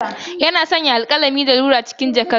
Yana sanya alkalami, abun gogewa da rular sa cikin jakarsa ta baya.